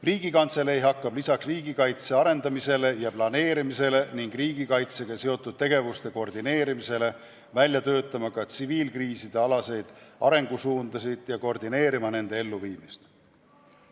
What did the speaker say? Riigikantselei hakkab lisaks riigikaitse arendamisele ja planeerimisele ning riigikaitsega seotud tegevuste koordineerimisele välja töötama ka tsiviilkriisidealaseid arengusuundasid ja koordineerima nende elluviimist.